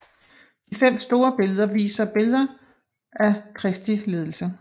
De fem store viser billeder af Kristi lidelse